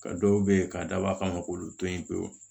Ka dɔw be yen k'a dabɔ a kama k'olu to yen pewu